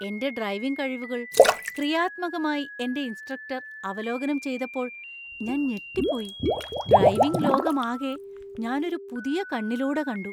എന്‍റെ ഡ്രൈവിംഗ് കഴിവുകൾ ക്രിയാത്മകമായി എന്‍റെ ഇൻസ്ട്രക്ടർ അവലോകനം ചെയ്തപ്പോൾ ഞാൻ ഞെട്ടിപ്പോയി. ഡ്രൈവിംഗ് ലോകമാകെ ഞാന്‍ ഒരു പുതിയ കണ്ണിലൂടെ കണ്ടു.